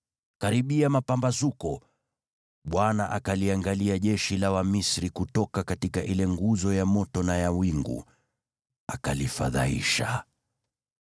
Karibia mapambazuko, Bwana akaliangalia jeshi la Wamisri kutoka ile nguzo ya moto na ya wingu, akalifadhaisha.